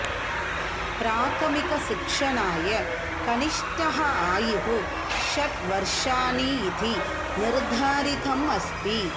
प्राथमिकशिक्षणाय कनिष्ठः आयुः षट् वर्षाणि इति निर्धारितम् अस्ति